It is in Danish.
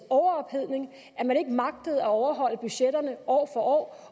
overophedning at man ikke magtede at overholde budgetterne år for år